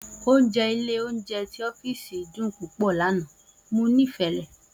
oúnjẹ ilé oúnjẹ tí ọ́sìfì dùn púpọ̀ lana, mo nifẹ rẹ